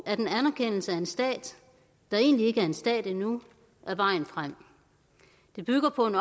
at en anerkendelse af en stat der egentlig ikke er en stat endnu er vejen frem det bygger på en